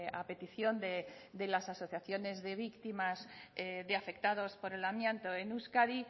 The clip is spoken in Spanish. a petición de las asociaciones de víctimas de afectados por el amianto en euskadi